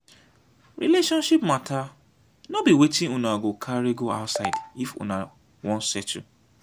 relationship mata no be wetin una go carry go outside if una wan settle.